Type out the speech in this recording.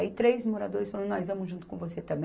Aí três moradores falaram, nós vamos junto com você também.